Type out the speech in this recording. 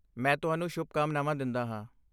ਮੈਂ ਤੁਹਾਨੂੰ ਸ਼ੁਭਕਾਮਨਾਵਾਂ ਦਿੰਦਾ ਹਾਂ।